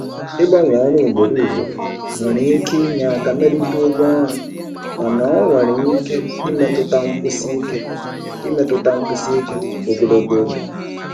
Ịgbanwe ọrụ ugboro ugboro nwere ike inye aka melite ụgwọ ọrụ mana ọ nwere ike imetụta nkwụsi ike imetụta nkwụsi ike ogologo oge.